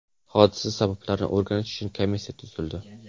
Hodisa sabablarini o‘rganish uchun komissiya tuzildi.